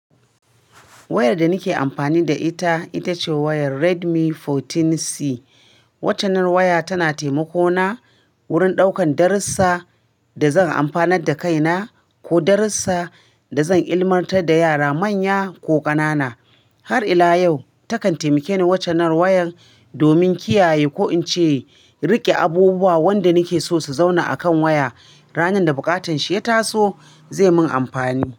Wayar da na ke amfani da ita, ita ce wayar Redmi 14C. Waccannar waya ta na taimako na wurin ɗaukan darussa da zan amfanar da kaina ko darussa da zan ilmantar da yara manya ko ƙanana. Har ila yau takan taimake ni waccannar wayar domin kiyaye ko in ce riƙe abubuwa wanda na ke so su zauna a kan waya ranar da buƙatan shi ya taso, zai min amfani.